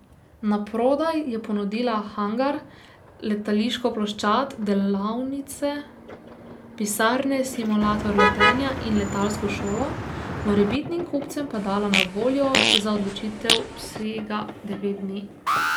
Naprodaj je ponudila hangar, letališko ploščad, delavnice, pisarne, simulator letenja in letalsko šolo, morebitnim kupcem pa dala na voljo za odločitev vsega devet dni.